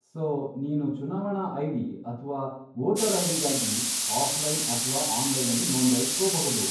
So, ನೀನು ಚುನಾವಣಾ ID. ಅಥ್ವಾ ವೋಟರ್ ಐ.ಡಿ.ಗಾಗಿ ಆಫ್ಲೈನ್ ಅಥ್ವಾ ಆನ್ಲೈನಲ್ಲಿ ನೋಂದಾಯಿಸ್ಕೋಬಹುದು.